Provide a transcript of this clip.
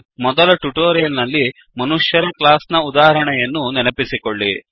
ಮೊದಲ ಟ್ಯುಟೋರಿಯಲ್ ನಲ್ಲಿ ಮನುಷ್ಯ ರ ಕ್ಲಾಸ್ ನ ಉದಾಹರಣೆಯನ್ನು ನೆನಪಿಸಿಕೊಳ್ಳಿ